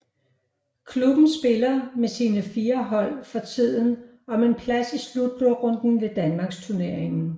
Klubben spiller med sine fire hold for tiden om en plads i slutrunden ved Danmarksturneringen